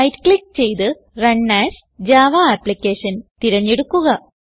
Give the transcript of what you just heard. right click ചെയ്ത് run as Java application തിരഞ്ഞെടുക്കുക